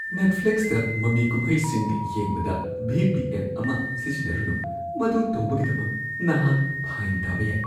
ꯅꯦꯠꯐ꯭ꯂꯤꯛꯁꯇ ꯃꯃꯤ-ꯀꯨꯝꯍꯩꯁꯤꯡ ꯌꯦꯡꯕꯗ V. P. N. ꯑꯃ ꯁꯤꯖꯤꯟꯅꯔꯨꯅꯨ꯫ ꯃꯗꯨ ꯇꯧꯕꯒꯤꯗꯃꯛ ꯅꯍꯥꯛ ꯐꯥꯏꯟ ꯇꯥꯕ ꯌꯥꯏ꯫